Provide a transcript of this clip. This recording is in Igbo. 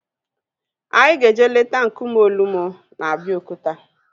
Anyị ga-eje leta nkume Olumo na Abeokuta